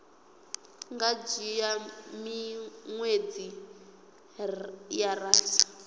nga dzhia miṅwedzi ya rathi